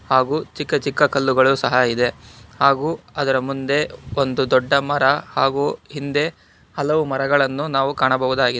ಹಾಗೂ ಚಿಕ್ಕ ಚಿಕ್ಕ ಕಲ್ಲುಗಳು ಸಹ ಇದೆ ಹಾಗೂ ಅದರ ಮುಂದೆ ಒಂದು ದೊಡ್ಡ ಮರ ಹಾಗೂ ಹಿಂದೆ ಹಲವು ಮರಗಳನ್ನು ನಾವು ಕಾಣಬಹುದಾಗಿದೆ.